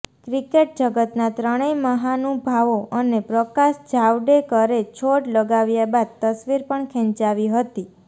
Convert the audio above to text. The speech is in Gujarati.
ક્રિકેટ જગતના ત્રણેય મહાનુભાવો અને પ્રકાશ જાવડેકરે છોડ લગાવ્યા બાદ તસવીર પણ ખેંચાવી હતી